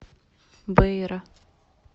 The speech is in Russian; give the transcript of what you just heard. бейра